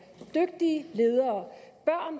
de dygtige ledere